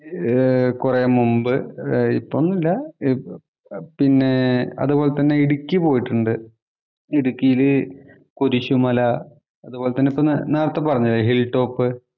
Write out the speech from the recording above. കൊറെ മുമ്പ്. ഇപ്പം ഒന്നുമല്ല. പിന്നെ അതുപോലെ തന്നെ ഇടുക്കി പോയിട്ടുണ്ട്. ഇടുക്കീല് കുരിശുമല അതുപോലെ നേരത്തെ പറഞ്ഞില്ലേ ഹില്‍ ടോപ്പ്